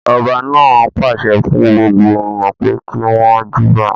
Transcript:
Ọba náà pàṣẹ fún gbogbo ènìyàn pé kí wọn júbà.